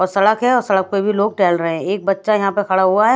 और सड़क है और सड़क पे भी लोक टहल रहे है एक बच्चा यहाँ पे खड़ा हुआ है।